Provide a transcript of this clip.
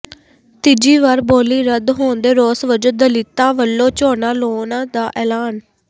ਤੀਜੀ ਵਾਰ ਬੋਲੀ ਰੱਦ ਹੋਣ ਦੇ ਰੋਸ ਵਜੋਂ ਦਲਿਤਾਂ ਵੱਲੋਂ ਝੋਨਾ ਲਾਉਣ ਦਾ ਐਲਾਨ